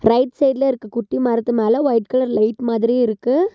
Right சைடுல இருக்க குட்டி மரத்து மேல ஒயிட் கலர் லைட் மாதிரி இருக்கு.